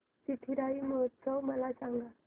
चिथिराई महोत्सव मला सांग